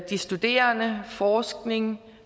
de studerende forskning og